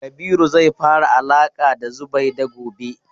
Kabiru zai fara alaƙa da Zubaida gobe.